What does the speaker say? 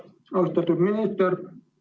Austatud minister!